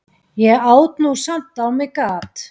Ég át nú samt á mig gat.